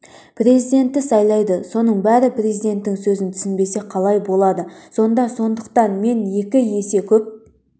президентті сайлайды соның бәрі президенттің сөзін түсінбесе қалай болады сонда сондықтан мен екі есе көп